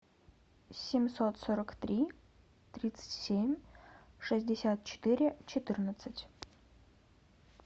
семьсот сорок три тридцать семь шестьдесят четыре четырнадцать